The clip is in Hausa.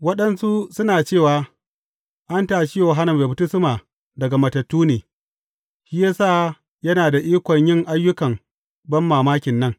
Waɗansu suna cewa, An tashe Yohanna Mai Baftisma daga matattu ne, shi ya sa yana da ikon yin ayyukan banmamakin nan.